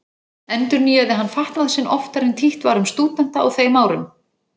Endurnýjaði hann fatnað sinn oftar en títt var um stúdenta á þeim árum.